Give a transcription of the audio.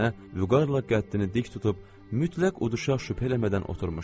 Nənə vüqarla qəddini dik tutub mütləq uduşa şəkk eləmədən oturmuşdu.